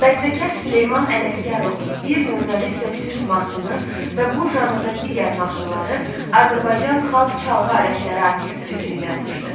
Bəstəkar Süleyman Ələsgərov bir nömrəli sözsüz mahnısını və bu janrda digər mahnıları Azərbaycan xalq çalğı alətləri orkestri üçün yazmışdı.